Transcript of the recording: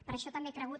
per això també he cregut